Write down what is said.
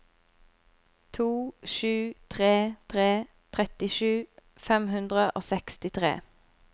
to sju tre tre trettisju fem hundre og sekstitre